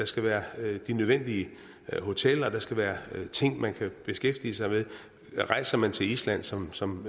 skal være de nødvendige hoteller der skal være ting man kan beskæftige sig med rejser man til island som som